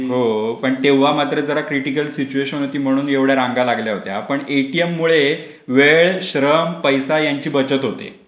हो तेव्हा मात्र पण क्रिटिकल सिच्युएशन होती. की म्हणून एवढ्या रांगा लागल्या होत्या. पण एटीएम मुळे वेळ, श्रम, पैसा यांची बचत होते.